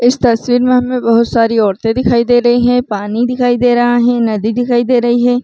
इस तस्वीर में हमे बहुत सारी औरते दिखाई दे रही है पानी दिखाई दे रहा है नदी दिखाई दे रही है।